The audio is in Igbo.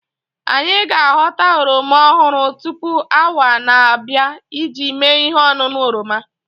Anyị ga aghọta oroma ọhụrụ tupu onwaa na-abịa iji mee ihe ọṅụṅụ oroma